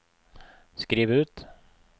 skriv ut